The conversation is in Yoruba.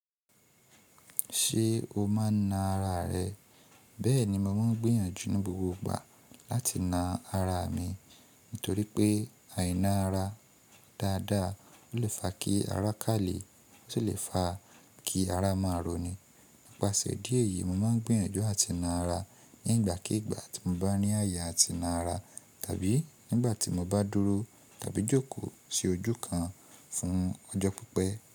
Ṣé o máa na ara rẹ? Bẹ́ẹ̀ni, mo máa ń gbìyànjú ní gbogbo ìgbà láti na ara mi nítorí pé àìná ara dáadáa lè fa kí ara kalẹ̀, ó sì lè fa kí ara máa roni. Nipasẹ di èyí, mo máa ń gbìyànjú àti ná ara nígbàkígbà tí mo bá ní ayé àti ná ara, tàbí nígbà tí mo bá dúró tàbí jókòó sí ojú kan fún ọjọ́ pípẹ́.